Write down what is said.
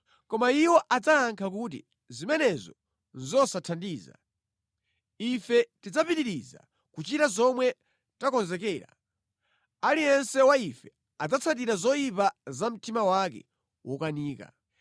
Koma iwo adzayankha kuti, ‘Zimenezo nʼzosathandiza. Ife tidzapitiriza kuchita zomwe takonzekera; aliyense wa ife adzatsatira zoyipa za mtima wake wokanika.’ ”